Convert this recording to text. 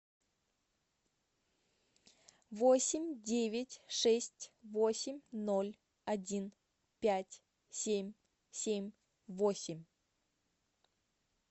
восемь девять шесть восемь ноль один пять семь семь восемь